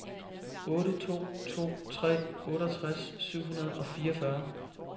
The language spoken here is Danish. otte to to tre otteogtres syv hundrede og fireogfyrre